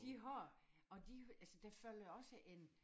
De har og de altså der følger jo også en